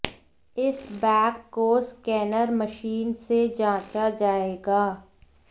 इस बैग को scanner machine से जांचा जाएगा